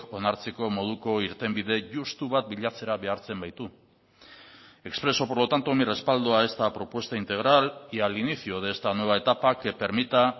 onartzeko moduko irtenbide justu bat bilatzera behartzen baitu expreso por lo tanto mi respaldo a esta propuesta integral y al inicio de esta nueva etapa que permita